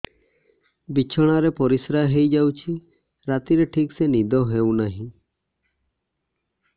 ବିଛଣା ରେ ପରିଶ୍ରା ହେଇ ଯାଉଛି ରାତିରେ ଠିକ ସେ ନିଦ ହେଉନାହିଁ